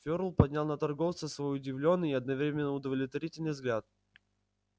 ферл поднял на торговца свой удивлённый и одновременно удовлетворённый взгляд